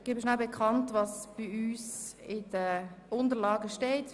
Ich gebe bekannt, was in meinen Unterlagen steht: